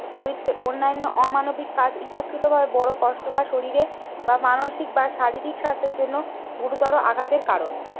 চরিত্রে অন্যান্য অমানবিক কাজ ইতাকৃতভাবে বড় কষ্ট বা শরীরে বা মানসিক বা শারীরিক স্বার্থের জন্য গুরুতর আঘাতের কারণ।